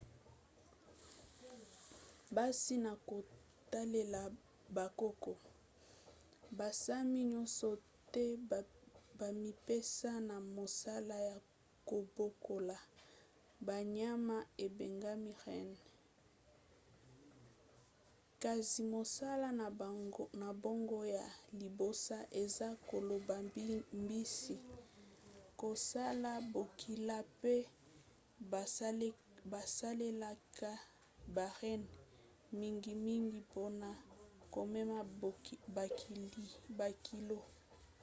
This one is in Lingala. kasi na kotalela bokoko basami nyonso te bamipesa na mosala ya kobokola banyama ebengami renne kasi mosala na bango ya liboso eza koloba mbisi kosala bokila pe basalelaka ba renne mingimingi mpona komema bakilo